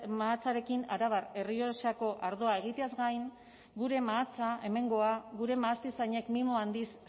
mahatsarekin arabar errioxako ardoa egiteaz gain gure mahatsa hemengoa gure mahastizainek mimo handiz